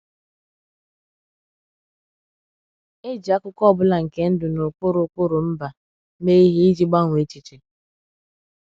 E ji akụkọ ọ bụla nke ndụ na ụkpụrụ ụkpụrụ mba mee ihe iji gbanwee èchìchè.